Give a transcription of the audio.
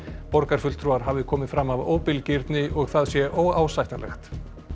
borgarfulltrúar hafi komið fram af óbilgirni og það sé óásættanlegt